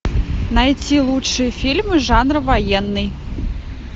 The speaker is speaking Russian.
найти лучшие фильмы жанра военный